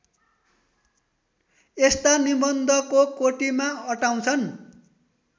यस्ता निबन्धको कोटिमा अटाउँछन्